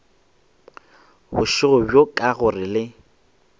bošego bjo ka gore le